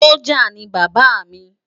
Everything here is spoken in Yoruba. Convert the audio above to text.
Sójá ni Baba rè